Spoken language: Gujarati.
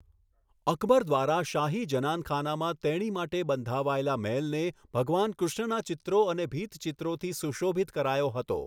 અકબર દ્વારા શાહી જનાનખાનામાં તેણી માટે બંધાવાયેલા મહેલને ભગવાન કૃષ્ણના ચિત્રો અને ભીંતચિત્રોથી સુશોભિત કરાયો હતો.